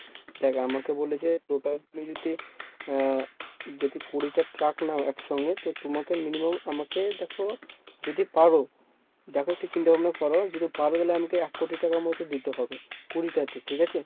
দেখ আমাকে বলেছে total যদি এর যদি কুড়িটা truck নাও একসঙ্গে তো তোমাকে minimum আমাকে দেখ যদি পারো, দেখ একটু চিন্তাভাবনা কর যদি পারো তালে আমাকে এক কোটি টাকা মতন দিতে হবে কুড়িটাতে। ঠিকাছে?